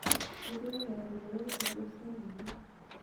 ketii emukunta ino ilkujit sapuki